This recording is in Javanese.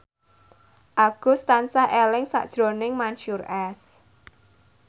Agus tansah eling sakjroning Mansyur S